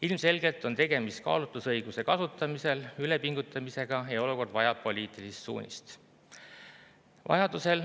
Ilmselgelt on tegemist kaalutlusõiguse kasutamisel ülepingutamisega ja olukord vajab poliitilist suunist.